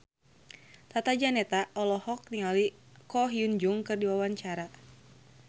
Tata Janeta olohok ningali Ko Hyun Jung keur diwawancara